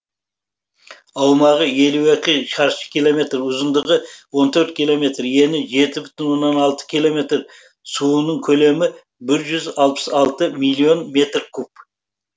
аумағы елу екі шаршы километр ұзындығы он төрт километр ені жеті бүтін оннан алты километр суының көлемі бір жүз алпыс алты миллион метр куб